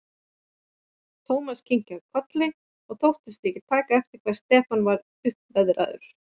Thomas kinkaði kolli og þóttist ekki taka eftir hvað Stefán varð uppveðraður.